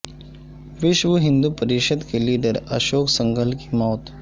وشو ہندو پریشد کے لیڈر اشوک سنگھل کی موت